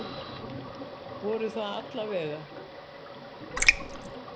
Voru það alla vega.